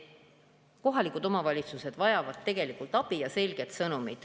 Kohalikud omavalitsused vajavad tegelikult abi ja selget sõnumit.